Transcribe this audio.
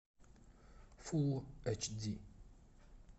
фул эч ди